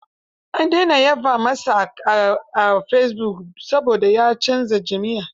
An dena yaba masa a fesibuk saboda ya canza jam'iyya.